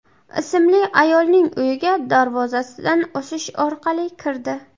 ismli ayolning uyiga darvozasidan oshish orqali kirdi.